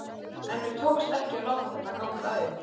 En mér tókst ekki að láta þetta ganga upp.